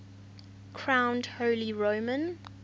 crowned holy roman